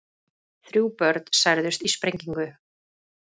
Þrjú börn særðust í sprengingu